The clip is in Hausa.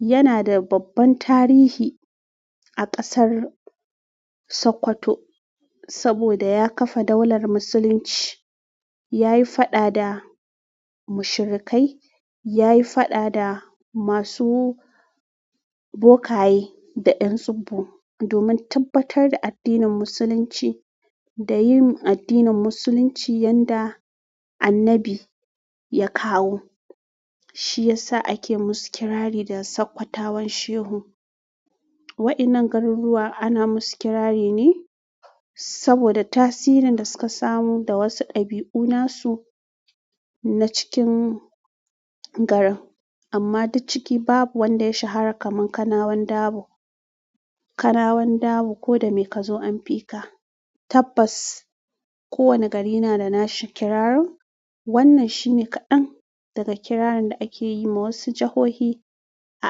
Yana da babban tarihi a ƙasar Sokoto saboda ya ƙafa daular Musulunci. Ya yi faɗa da mushrikai, ya yi faɗa da masu bokaye da 'yan tsubbu domin tabbatar da addinin Musulunci da yin addinin Musulunci yanda annabi ya kawo. Shi ya sa ake musu kirari da Sokotawan Shehu. Waɗannan garuruwa ana musu kirari ne saboda tasirin da suka samu da wasu ɗabi'u nasu na cikin garin. Amma duk ciki babu wanda ya shahara kamar Kanawan Dabo. Kanawan Dabo "ko da me ka zo an fi ka". Tabbas kowane gari na da nashi kirarin. Wannan shine kaɗan daga kirarin da ake yi ma wasu jahohi a.